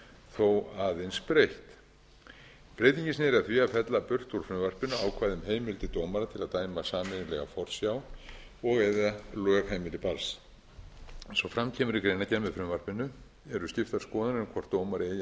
þó aðeins breytt breytingin sneri að því að fella burt úr frumvarpinu ákvæði um heimildir dómara til að dæma sameiginlega forsjá og eða lögheimili barns eins og fram kemur í greinargerð með frumvarpinu eru skiptar skoðanir um hvort dómari eigi að hafa